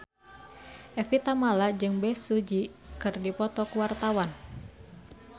Evie Tamala jeung Bae Su Ji keur dipoto ku wartawan